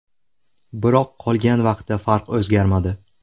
Biroq qolgan vaqtda farq o‘zgarmadi.